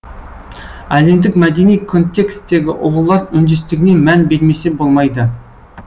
әлемдік мәдени контекстегі ұлылар үндестігіне мән бермесе болмайды